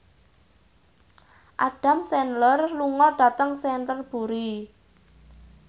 Adam Sandler lunga dhateng Canterbury